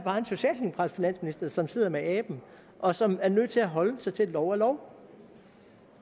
bare finansminister som sidder med aben og som er nødt til at holde sig til at lov er lov